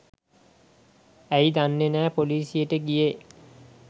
ඇයි දන්නේ නැ පොලිසියට ගියේ